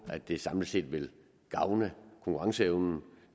at det samlet set vil gavne konkurrenceevnen